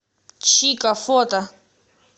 чико фото